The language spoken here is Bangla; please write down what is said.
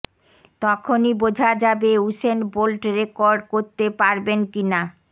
তখনই বোঝা যাবে উসেন বোল্ট রেকর্ড করতে পারবেন কিনা